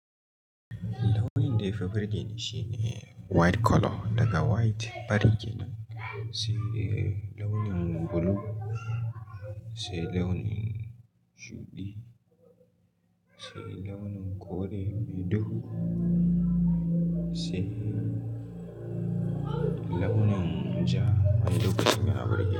Launin da ya fi burge ni shine white colour. Daga white fari ke nan, sai launin blue, sai launin shudi, sai launin kore mai duhu, sai launin ja wani lokacin yana burge ni.